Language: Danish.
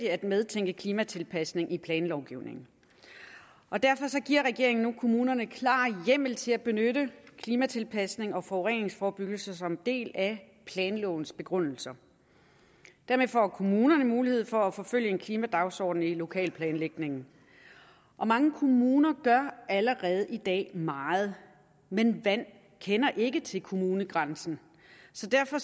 at medtænke klimatilpasning i planlovgivningen derfor giver regeringen nu kommunerne klar hjemmel til at benytte klimatilpasning og forureningsforebyggelse som en del af planlovens begrundelser dermed får kommunerne mulighed for at forfølge en klimadagsorden i lokalplanlægningen og mange kommuner gør allerede i dag meget men vand kender ikke til kommunegrænsen så derfor